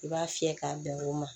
I b'a fiyɛ k'a bɛn o ma